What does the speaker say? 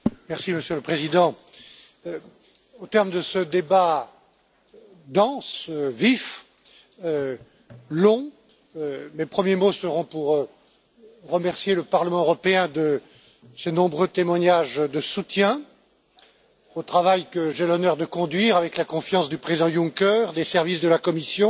Monsieur le Président, au terme de ce débat dense, vif et long, mes premiers mots seront pour remercier le Parlement européen de ses nombreux témoignages de soutien au travail que j'ai l'honneur de conduire avec la confiance du président Juncker, des services de la Commission,